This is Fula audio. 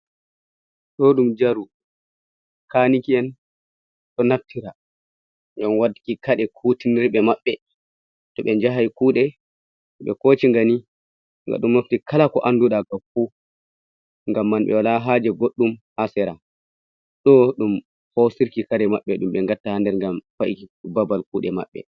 Ɗo ɗum jaru kaniki'en ɗo naftira ngam watuki kare kutinirde maɓɓe, toh ɓe jahan kuɗe, ɓe hocingani gaɗo mofti kala ko anduɗa fu ngam man ɓe wola haje goɗɗum ha sera, ɗo ɗum hosirki kare maɓɓe ɗum ɓe ngatta ha nder ngam fa'ii babal kuɗe maɓɓe.